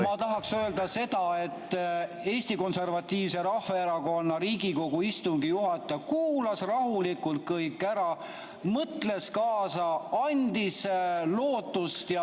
Ma tahaksin öelda seda, et Eesti Konservatiivse Rahvaerakonna Riigikogu istungi juhataja kuulas rahulikult kõik ära, mõtles kaasa, andis lootust.